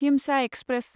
हिमसा express